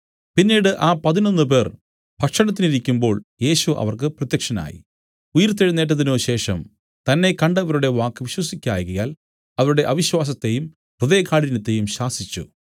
പിന്നീട് ആ പതിനൊന്നുപേർ ഭക്ഷണത്തിനിരിക്കുമ്പോൾ യേശു അവർക്ക് പ്രത്യക്ഷനായി ഉയിർത്തെഴുന്നേറ്റതിനുശേഷം തന്നെ കണ്ടവരുടെ വാക്ക് വിശ്വസിക്കായ്കയാൽ അവരുടെ അവിശ്വാസത്തെയും ഹൃദയകാഠിന്യത്തെയും ശാസിച്ചു